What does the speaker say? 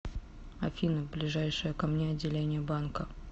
афина ближайшее ко мне отделение банка